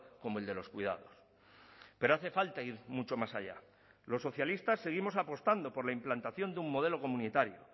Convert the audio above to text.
como el de los cuidados pero hace falta ir mucho más allá los socialistas seguimos apostando por la implantación de un modelo comunitario